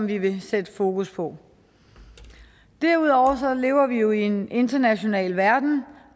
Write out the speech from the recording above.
vi vil sætte fokus på derudover lever vi jo i en international verden